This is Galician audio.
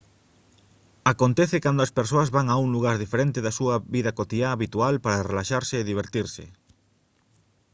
acontece cando as persoas van a un lugar diferente da súa vida cotiá habitual para relaxarse e divertirse